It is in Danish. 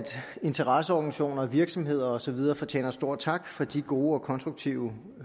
interesseorganisationer virksomheder og så videre fortjener stor tak for de gode og konstruktive